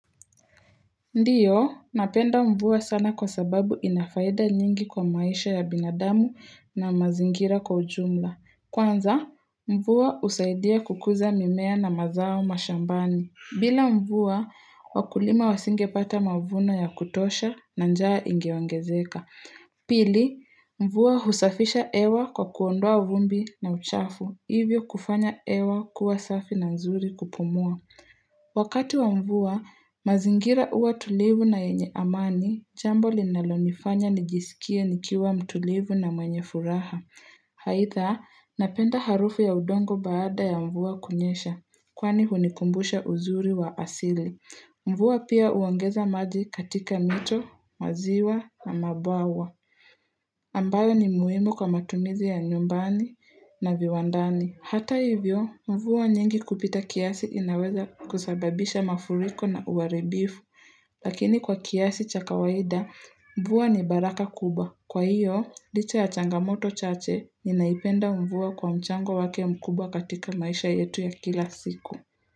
Ndio, napenda mvua sana kwa sababu inafaida nyingi kwa maisha ya binadamu na mazingira kwa ujumla. Kwanza, mvua husaidia kukuza mimea na mazao mashambani. Bila mvua, wakulima wasingepata mavuno ya kutosha na njaa ingeongezeka. Pili, mvua husafisha hewa kwa kuondoa vumbi na uchafu. Hivyo kufanya hewa kuwa safi na nzuri kupumua. Wakati wa mvua, mazingira huwa tulivu na yenye amani Jambo linalonifanya nijisikie nikiwa mtulivu na mwenye furaha aidha, napenda harufu ya udongo baada ya mvua kunyesha Kwani hunikumbusha uzuri wa asili Mvua pia huongeza maji katika mito, maziwa na mabawa Ambalayo ni muimu kwa matumizi ya nyumbani na viwandani Hata hivyo, mvua nyingi kupita kiasi inaweza kusababisha mafuriko na uwaribifu, lakini kwa kiasi cha kawaida, mvua ni baraka kubwa. Kwa hiyo, licha ya changamoto chache ninaipenda mvua kwa mchango wake mkubwa katika maisha yetu ya kila siku.